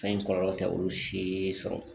Fɛn in kɔlɔlɔ tɛ olu si sɔrɔ